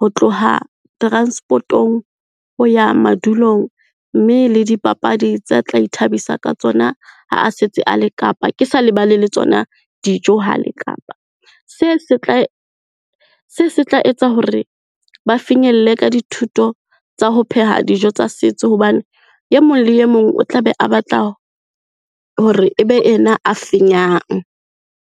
ho tloha transport-ong ho ya madulong mme le dipapadi tsa tla ithabisa ka tsona ha a setse a le Kapa, ke sa lebale le tsona dijo ha a le Kapa. Se se tla etsa hore ba finyelle ka dithuto tsa ho pheha dijo tsa setso hobane e mong le e mong o tla be a batla hore e be ena a fenyang.